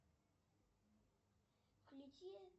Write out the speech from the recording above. включи